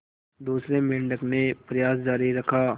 दूसरे मेंढक ने प्रयास जारी रखा